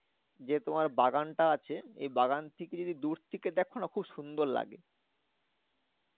যে তোমার বাগানটা আছে এ বাগান থেকে যদি দূর থেকে দেখো না খুব সুন্দর লাগে।